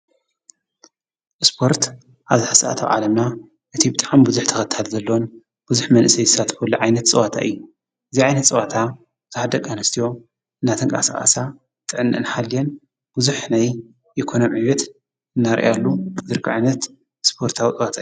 ስፖርት ኣብዚ ሰዓት ኣብ ዓለምና እቲ ብጣዕሚ ብዙሕ ተኸታሊ ዘለዎን ብዙሕ መንእሰይ ዝሳተፈሉ ዓይነት ፀዋታ እዩ፡፡ እዚ ዓይነት ፀዋታ ብዙሓት ደቂ ኣንስትዮ እንዳተንቃሳቐሳ ጥዕነአን ሓልየን ብዙሕ ናይ ኢኮኖሚ ዕብየት እንዳርኣያሉ ዝርከባ ዓይነት ስፖርታዊ ፀዋታ እዩ፡፡